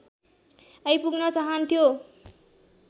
आइपुग्न चाहान्थ्यो